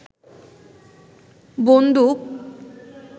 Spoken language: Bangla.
বন্দুক